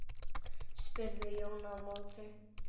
spurði Jón á móti.